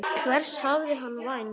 Hvers hafði hann vænst?